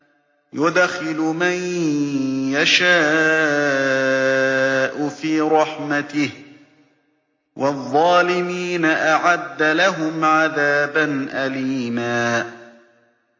يُدْخِلُ مَن يَشَاءُ فِي رَحْمَتِهِ ۚ وَالظَّالِمِينَ أَعَدَّ لَهُمْ عَذَابًا أَلِيمًا